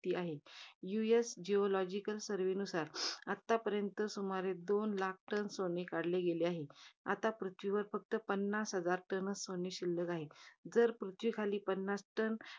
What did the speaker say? भीती आहे. US geological surve नुसार, आतापर्यंत सुमारे, दोन लाख टन सोने काढले गेले आहे. आता पृथ्वीवर फक्त पन्नास हजार टनच सोने शिल्लक आहे. जर पृथ्वीखाली पन्नास टन